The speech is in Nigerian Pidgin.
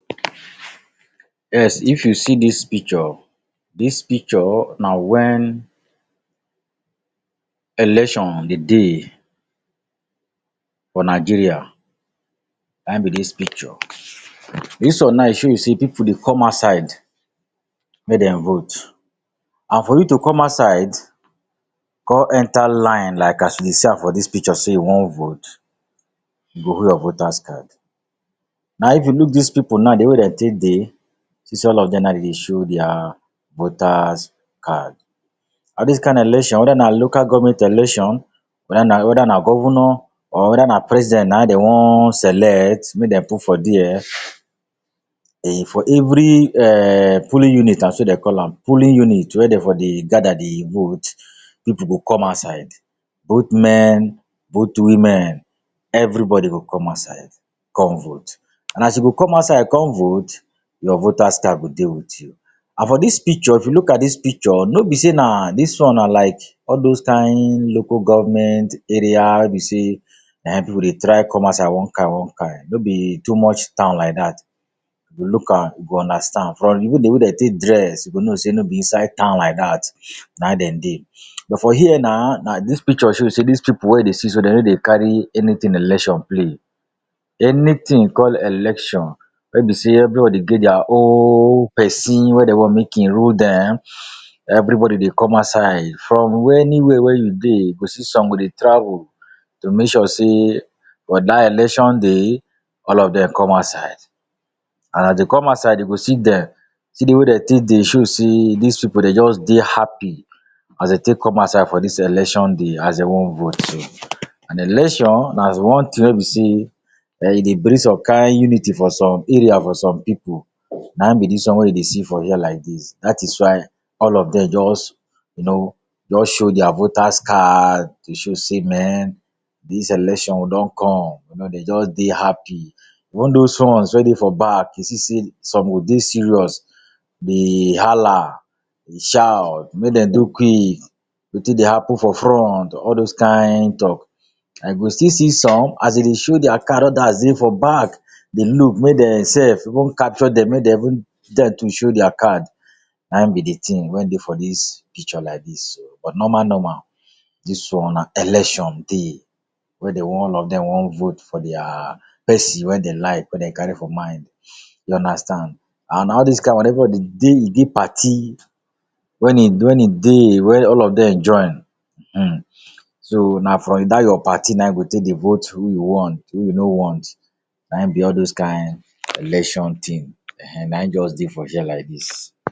Yes, if you see dis picture, dis picture na when election dey dey for Nigeria. Na in be dis picture. Dis one now e show you sey pipu dey come outside make dem vote. And for you to come outside con enter line like as you dey see am for dis picture sey you want vote, you go hold your voter’s card. Now if you look dis pipu now de wey dem take dey, see sey all of dem now dem dey show their voter’s card. Na dis kind election wether na local government election, wether na wether na governor or wether na president na in dem one select make dem put for there. for every um polling unit na so dem call am, polling unit wey dem for dey gather dey vote, pipu go come outside. Both men, both women, everybody go come outside come vote. And as you go come outside come vote, your voter’s card go dey with you. And for dis picture, if you look at dis picture, no be sey na dis one na like all those kind local government area wey be sey na in pipu dey try come outside one kind one kind. No be too much town like that. If you look am, you go understand. From di way dem wey dem take dress, you go know sey no be inside town like that na dem dey. But, for here na na dis picture show sey dis pipu wey you dey see so dem no dey carry anything election play. Anything called election wey in be sey everybody get their own person wey dem one make e rule dem, everybody dey come outside from anywhere wey you dey. You go see some go dey travel to make sure sey for that election day, all of dem come outside. And as dem come outside dem go see dem. See de way wey dem take dey show sey dis pipu dem just dey happy as dem take come outside for dis election day, as dem want vote so. And election na one thing wey be sey um e dey bring some kind unity for some area for some pipu. Na in be dis one wey you dey see for here like dis. That is why all of dem just you know, just show their voter’s card dey show sey men dis election we don come. You know dem just dey happy. All dos ones wey dey for back, you see sey some go dey serious dey hala, dey shout make dem do quick, wetin dey happen for front? All dos kind talk. And you go still see some as dem dey show their card, others dey for back dey look make dem self go capture dem, make dem even to show their card. Na in be de ting wey dey for dis picture like dis so. But normal normal, dis one na election day wey dem want all of dem want vote for their person wey dem like, wey dem carry for mind. You understand. And na all dis kind one everybody dey e dey party when e when in dey wey all of dem join um. So, na from that your party na you go take dey vote who you want, who you no want. Na in be all those kind election thing. Ehen Na in just dey for here like dis.